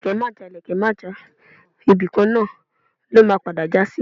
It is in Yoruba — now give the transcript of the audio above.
ìlekẹ̀ Maja, ìlekẹ̀ Maja, ibíkan na lọ́ ma pada jasí